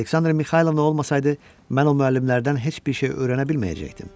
Əlbəttə, Aleksandra Mixaylovna olmasaydı, mən o müəllimlərdən heç bir şey öyrənə bilməyəcəkdim.